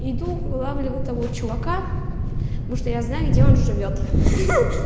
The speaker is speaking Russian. иду улавливает того чувака ну что я знаю где он живёт